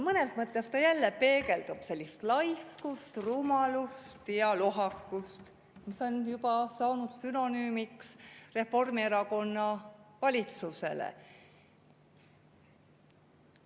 Mõnes mõttes see jälle peegeldub laiskust, rumalust ja lohakust, mis on juba saanud sünonüümiks Reformierakonna valitsusele.